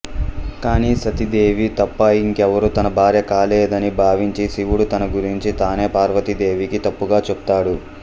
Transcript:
కానీ సతీదేవి తప్ప ఇంకెవరూ తన భార్యా కాలేరని భావించి శివుడు తన గురించి తానే పార్వతీదేవికి తప్పుగా చెప్తాడు